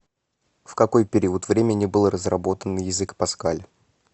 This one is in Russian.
в какой период времени был разработан язык паскаль